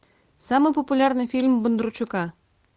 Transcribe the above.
самый популярный фильм бондарчука